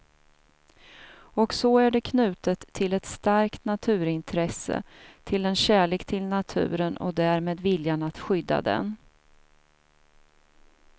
Och så är det knutet till ett starkt naturintresse, till en kärlek till naturen och därmed viljan att skydda den.